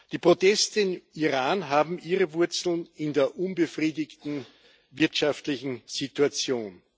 Die Proteste im Iran haben ihre Wurzeln in der unbefriedigenden wirtschaftlichen Situation.